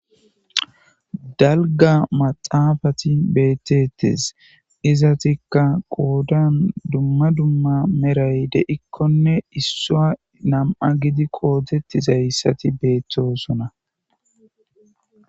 Dalga maxafeti beetetees. Izetika qoodan dumma dumma medhoy de'ikonne issuwa nam'a giidi qoodetizaysati beetosona.